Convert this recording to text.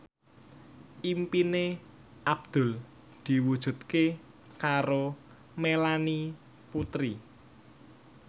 impine Abdul diwujudke karo Melanie Putri